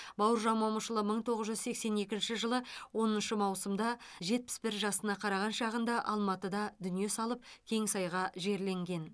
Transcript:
бауыржан момышұлы мың тоғыз жүз сексен екінші жылы оныншы маусымда жетпіс бір жасына қараған шағында алматыда дүние салып кеңсайға жерленген